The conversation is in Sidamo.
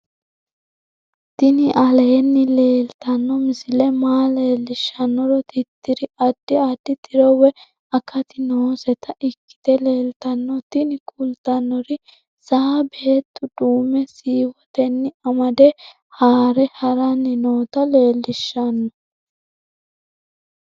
tini aleenni leetanno misile maa leellishshannoro tirriri addi addi tiro woy akati nooseta ikkite leeltanno tini kultannori saa beettu duumme siiwotenni amade haare haranni noota leellishshanno